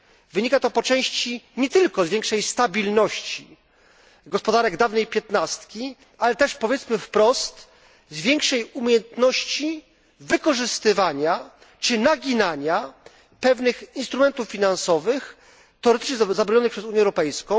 Wynika to po części nie tylko z większej stabilności gospodarek dawnej piętnastki, ale też, powiedzmy wprost, z większej umiejętności wykorzystywania czy naginania pewnych instrumentów finansowych, teoretycznie zabronionych przez Unię Europejską,